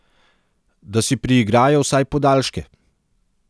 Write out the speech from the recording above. Da si priigrajo vsaj podaljške.